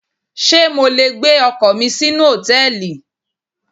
Ṣé mo le gbé ọkọ̀ mi sínú Hòtẹ́lìì?